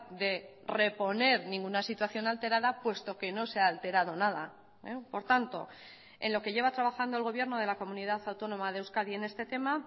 de reponer ninguna situación alterada puesto que no se ha alterado nada por tanto en lo que lleva trabajando el gobierno de la comunidad autónoma de euskadi en este tema